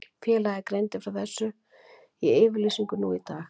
Félagið greindi frá þessu í yfirlýsingu nú í dag.